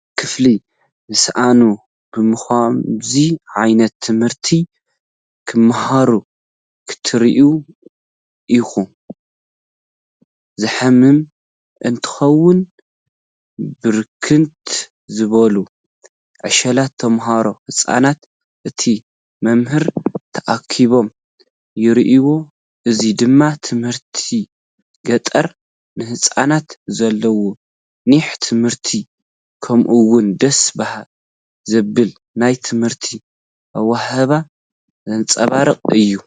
ኣብ ክፍሊ ዝሰኣኑ ብኸምዚ ዓ/ት ክማሃሩ ክትሪኢ እኳ ዘሕምም እንተኾነ፣ ብርክት ዝበሉ ዕሸላት ተማሃሮ፡ ህጻናት፡ እቲ መምህር ተኣኪቦም ይረኣዩ፡ እዚ ድማ ትምህርቲ ገጠር፡ ንህጻናት ዘለዎም ኒሕ ትምህርቲ፡ ከምኡ’ውን ደስ ዘብል ናይ ትምህርቲ ሃዋህው ዘንጸባርቕ እዩ።